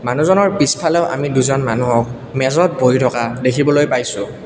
মানুহজনৰ পিছফালেও আমি দুজন মানুহক মেজত বহি থকা দেখিবলৈ পাইছো।